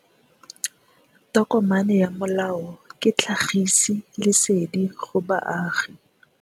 Tokomane ya molao ke tlhagisi lesedi go baagi.